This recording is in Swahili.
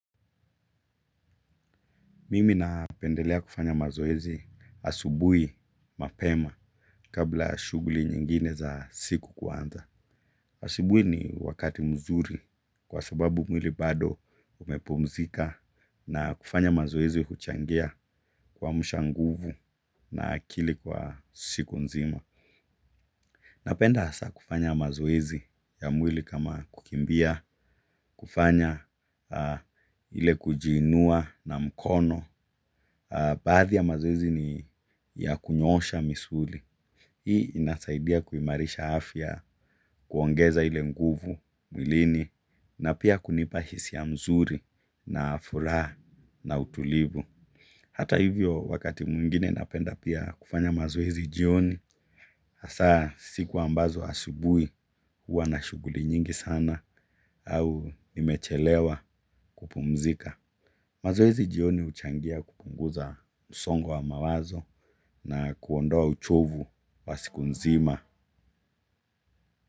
Mimi napendelea kufanya mazoezi asubuhi mapema kabla ya shughuli nyingine za siku kuanza. Asubuhi ni wakati mzuri kwa sababu mwili bado umepumzika na kufanya mazoezi huchangia kuamsha nguvu na akili kwa siku nzima. Napenda hasa kufanya mazoezi ya mwili kama kukimbia, kufanya, ile kujiinua na mkono. Baadhi ya mazoezi ni ya kunyoosha misuli. Hii inasaidia kuimarisha afya kuongeza ile nguvu mwilini na pia kunipa hisia mzuri na furaha na utulivu. Hata hivyo wakati mwingine napenda pia kufanya mazoezi jioni. Hasa siku ambazo asubuhi huwa na shughuli nyingi sana au nimechelewa kupumzika. Mazoezi jioni huchangia kupunguza msongo wa mawazo na kuondoa uchovu wa siku nzima.